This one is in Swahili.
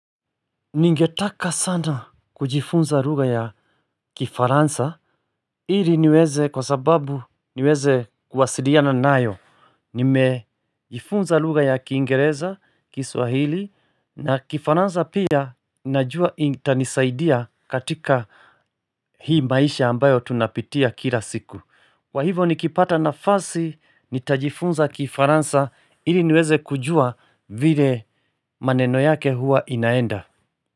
Ningetaka sana kujifunza lugha ya kifaransa ili niweze kwa sababu niweze kuwasiliana nayo Nimejifunza lugha ya kiingereza kiswahili na kifaransa pia najua itanisaidia katika hii maisha ambayo tunapitia kila siku Kwa hivo nikipata nafasi nitajifunza kifaransa ili niweze kujua vile maneno yake hua inaenda.